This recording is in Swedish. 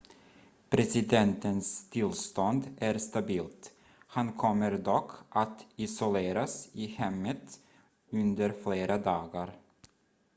presidentens tillstånd är stabilt han kommer dock att isoleras i hemmet under flera dagar